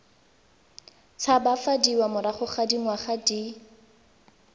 tshabafadiwa morago ga dingwaga di